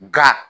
Nka